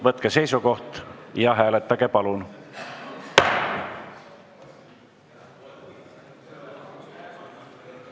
Võtke seisukoht ja hääletage, palun!